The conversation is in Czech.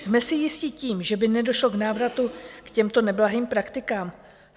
Jsme si jisti tím, že by nedošlo k návratu k těmto neblahým praktikám?